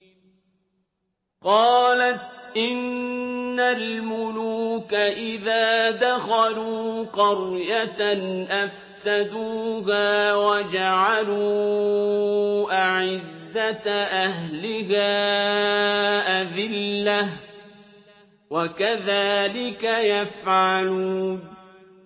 قَالَتْ إِنَّ الْمُلُوكَ إِذَا دَخَلُوا قَرْيَةً أَفْسَدُوهَا وَجَعَلُوا أَعِزَّةَ أَهْلِهَا أَذِلَّةً ۖ وَكَذَٰلِكَ يَفْعَلُونَ